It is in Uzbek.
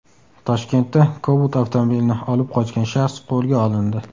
Toshkentda Cobalt avtomobilini olib qochgan shaxs qo‘lga olindi.